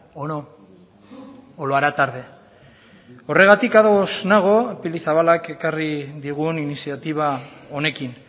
o no o lo hará tarde horregatik ados nago pili zabalak ekarri digun iniziatiba honekin